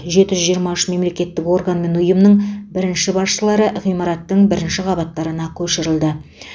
жеті жүз жиырма үш мемлекеттік орган мен ұйымның бірінші басшылары ғимараттың бірінші қабаттарына көшірілді